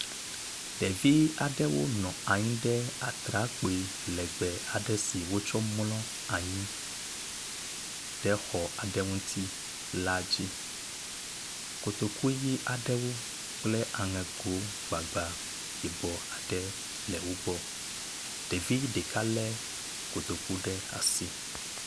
Ɖevi aɖewo nɔ anyi ɖe atrakpui legbe aɖe si wotsɔ mlɔ anyi ɖe xɔ aɖe ŋuti la dzi, kotoku ɣi aɖewo kple aŋegogbagba yibɔ aɖe le wogbɔ. Ɖevi ɖeka le kotoku ɖe asi.